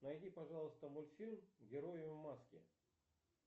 найди пожалуйста мультфильм герои в маске